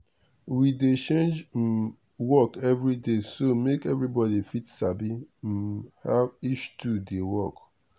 we dey change um work every day so make everybody fit sabi um how each tool dey work.